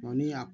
ni y'a